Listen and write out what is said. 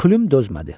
Plüm dözmədi.